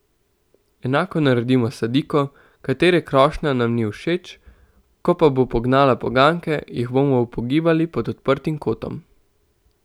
Enako naredimo s sadiko, katere krošnja nam ni všeč, ko pa bo pognala poganjke, jih bomo upogibali pod odprtim kotom.